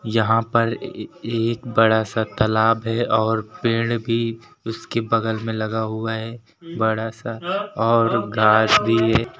यहां पर ए एक बड़ा सा तालाब है और पेड़ भी उसके बगल में लगा हुआ है बड़ा सा और घास भी है।